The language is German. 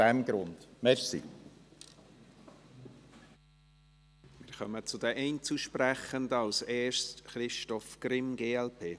Wir kommen zu den Einzelsprechenden, zuerst zu Christoph Grimm, glp.